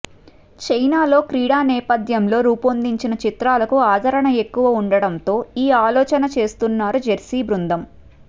China లో క్రీడా నేపథ్యంలో రూపొందిన చిత్రాలకు ఆదరణ ఎక్కువ ఉండటంతో ఈ ఆలోచన చేస్తున్నారు జెర్సీ బృందం